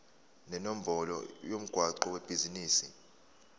nenombolo yomgwaqo webhizinisi